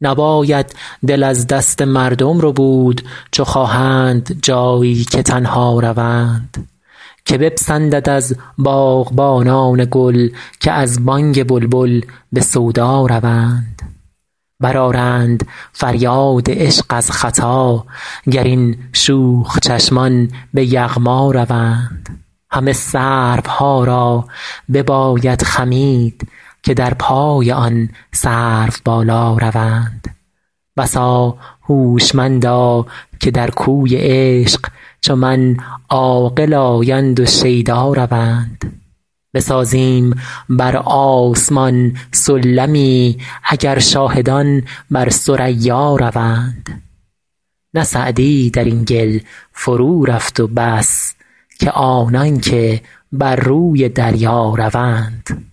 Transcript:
نباید دل از دست مردم ربود چو خواهند جایی که تنها روند که بپسندد از باغبانان گل که از بانگ بلبل به سودا روند برآرند فریاد عشق از ختا گر این شوخ چشمان به یغما روند همه سروها را بباید خمید که در پای آن سروبالا روند بسا هوشمندا که در کوی عشق چو من عاقل آیند و شیدا روند بسازیم بر آسمان سلمی اگر شاهدان بر ثریا روند نه سعدی در این گل فرورفت و بس که آنان که بر روی دریا روند